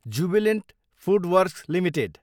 Jubilant FoodWorks Ltd